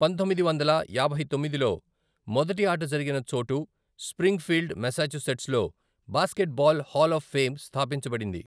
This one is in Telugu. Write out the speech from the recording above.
పంతొమ్మిది వందల యాభై తొమ్మిదిలో, మొదటి ఆట జరిగిన చోటు స్ప్రింగ్ఫీల్డ్ మెసచుసెట్స్ లో బాస్కెట్బాల్ హాల్ ఆఫ్ ఫేమ్ స్థాపించబడింది.